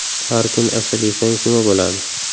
Har kuni asal yesangiz, nima bo‘ladi?.